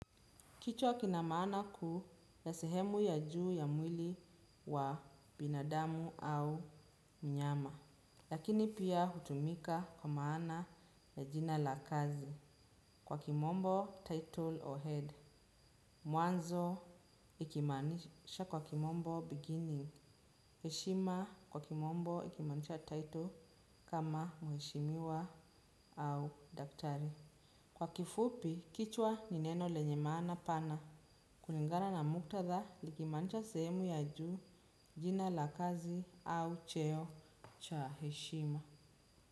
Kichwa kina maana kuu ya sehemu ya juu ya mwili wa binadamu au mnyama. Lakini pia hutumika kwa maana ya jina la kazi kwa kimombo title or head. Mwanzo ikimaanisha kwa kimombo beginning. Heshima kwa kimombo ikimanisha title kama mheshimiwa au daktari. Kwa kifupi, kichwa ni neno lenye maana pana. Kulingana na muktadha liki maanisha sehemu ya juu, jina la kazi au cheo cha heshima.